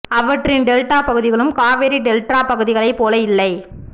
அவற்றின் டெல்டாப் பகுதிகளும் காவிரி டெல்டாப் பகுதிகளைப் போல இல்லை